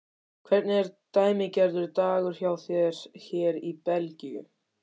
Hvernig er dæmigerður dagur hjá þér hér í Belgíu?